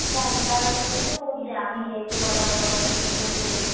ରାସ୍ତା ଘାଟ ବିତ ବହୂତ୍ ଜାମ୍‌ ହେଇଯାଇଛି ବଡ ବଡ ଗଛ ସବୁ ଉପୁଡିକି।